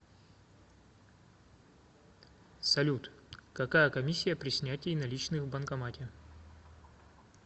салют какая комиссия при снятие наличных в банкомате